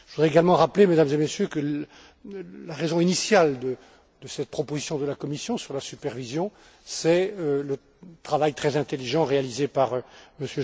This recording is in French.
Je voudrais également rappeler, Mesdames et Messieurs, que la raison initiale de cette proposition de la Commission sur la supervision c'est le travail très intelligent réalisé par M.